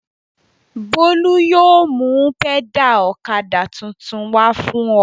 Bólú yóò mú pẹ́dà ọ̀kadà tuntun wá fún ọ.